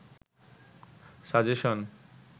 suggestion